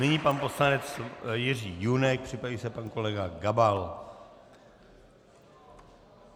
Nyní pan poslanec Jiří Junek, připraví se pan kolega Gabal.